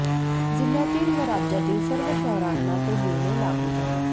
जिल्हय़ातील व राज्यातील सर्व शहरांना तो निर्णय लागू झाला